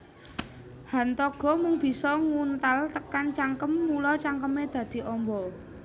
Hantaga mung bisa nguntal tekan cangkem mula cangkeme dadi amba